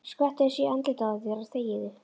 Skvettu þessu í andlitið á þér og þegiðu.